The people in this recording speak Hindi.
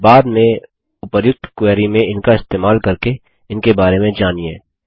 बाद में उपर्युक्त क्वेरी में इनका इस्तेमाल करके इनके बारे में जानिए